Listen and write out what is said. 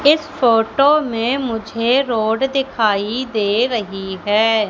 इस फोटो में मुझे रोड दिखाई दे रही है।